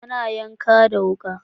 Ana yanka da wuka.